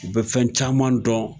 U be fɛn caman dɔn